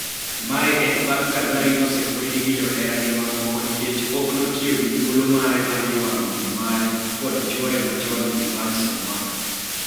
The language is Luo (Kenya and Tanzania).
Mae en bang' ka Zari osekwedo gi johera moko nikech ok otiyo gi thuolo mare mar ywak min mare kod chuore machon Ivan Ssemwanga.